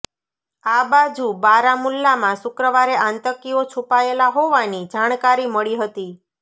આ બાજુ બારામુલ્લામાં શુક્રવારે આતંકીઓ છૂપાયેલા હોવાની જાણકારી મળી હતી